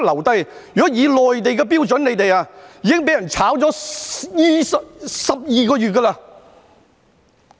如果以內地的標準，你們已經被解僱12個月了。